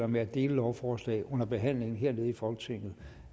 med at dele lovforslag under behandlingen hernede i folketingssalen